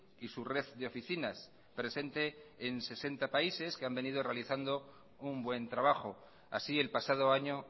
y su red de oficinas presente en sesenta países que han venido realizando un buen trabajo así el pasado año